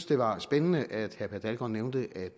det var spændende at herre per dalgaard nævnte at